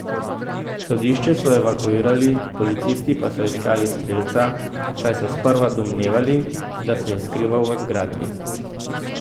Sodišče so evakuirali, policisti pa so iskali strelca, saj so sprva domnevali, da se je skrival v zgradbi.